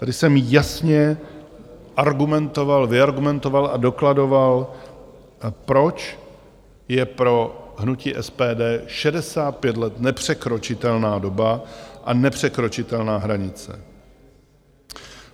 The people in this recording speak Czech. Tady jsem jasně argumentoval, vyargumentoval a dokladoval, proč je pro hnutí SPD 65 let nepřekročitelná doba a nepřekročitelná hranice.